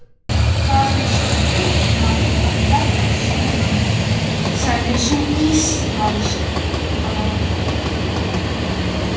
Það er svo upplagt að ferðast svona, sagði sú íslenska.